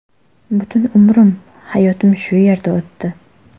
Butun umrim, hayotim shu yerda o‘tdi.